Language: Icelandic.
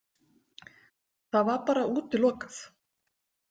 Það var bara útilokað.